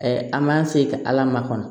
an m'an se ka ala makɔnɔ